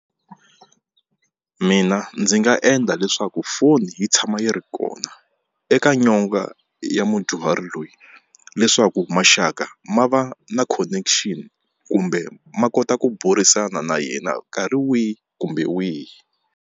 Mina ndzi nga endla leswaku foni yi tshama yi ri kona eka nyonga ya mudyuhari loyi leswaku maxaka ma va na connection kumbe ma kota ku burisana na yena nkarhi wihi kumbe wihi.